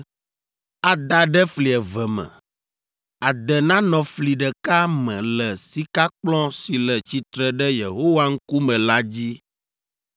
ada ɖe fli eve me: ade nanɔ fli ɖeka me le sikakplɔ̃ si le tsitre ɖe Yehowa ŋkume la dzi.